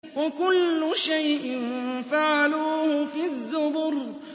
وَكُلُّ شَيْءٍ فَعَلُوهُ فِي الزُّبُرِ